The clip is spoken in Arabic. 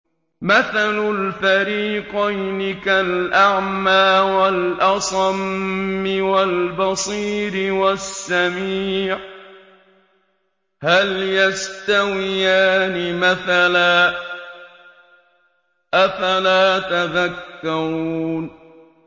۞ مَثَلُ الْفَرِيقَيْنِ كَالْأَعْمَىٰ وَالْأَصَمِّ وَالْبَصِيرِ وَالسَّمِيعِ ۚ هَلْ يَسْتَوِيَانِ مَثَلًا ۚ أَفَلَا تَذَكَّرُونَ